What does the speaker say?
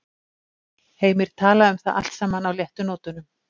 Heimir talaði um það allt saman á léttu nótunum.